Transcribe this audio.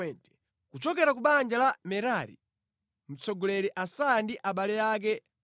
Kuchokera ku banja la Merari, mtsogoleri Asaya ndi abale ake 220;